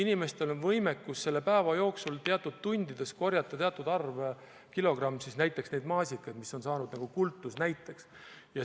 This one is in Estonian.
Inimestel on võimekus päeva jooksul teatud tundide jooksul korjata teatud arv kilogramme näiteks maasikaid, mis on saanud nagu kultusnäiteks.